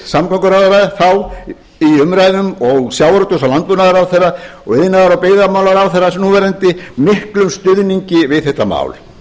samgönguráðherra þá í umræðum og sjávarútvegs og landbúnaðarráðherra og iðnaðar og byggðamálaráðherra núverandi miklum stuðningi við þetta mál